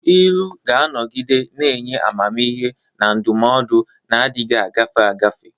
Ilu ga-anọgide na-enye amamihe na ndụmọdụ na-adịghị agafe agafe.